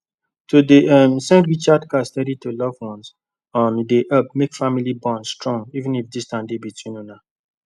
to dey um send recharge card steady to loved ones um dey help make family bond strong even if distance dey between una